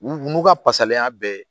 N'u ka pasalenya bɛɛ ye